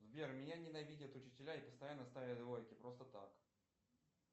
сбер меня ненавидят учителя и постоянно ставят двойки просто так